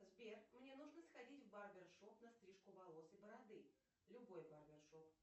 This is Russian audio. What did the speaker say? сбер мне нужно сходить в барбершоп на стрижку волос и бороды любой барбершоп